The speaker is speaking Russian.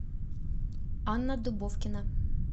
анна дубовкина